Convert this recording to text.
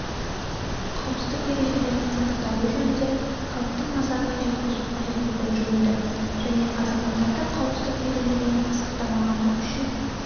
қауіпсіздік ережелерінің сақталуы жөнінде халықтың назарына жеткізу қажеттілігін жүгінді және азаматтардың қауіпсіздік ережелерін сақтамағаны үшін